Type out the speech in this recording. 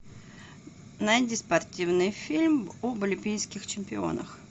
найди спортивный фильм об олимпийских чемпионах